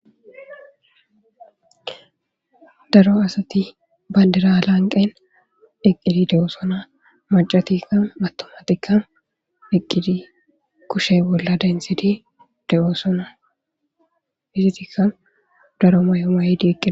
Daro asati bandira lanqen eqidi de"ossona maccatikka atummatikka eqidi kushshe bolla denthidi de"osona izetikka daro mayo mayidi eqida